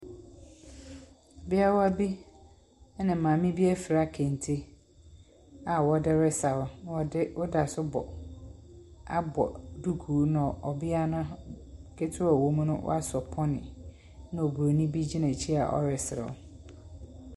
Abeawa bi ne maame bi afira kente a wɔde resaw. Wɔde woda so bɔ abɔ dukuu no ɔbea ketewa a ɔwɔ mu no asɔ pɔny na Oburoni bi gyina akyiri na ɔreserew.